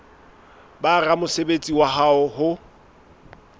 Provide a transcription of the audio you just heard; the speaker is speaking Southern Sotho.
ba ramosebetsi wa hao ho